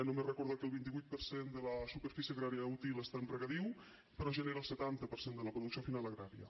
només recordar que el vint vuit per cent de la superfície agrària útil està en regadiu però genera el setanta per cent de la producció final agrària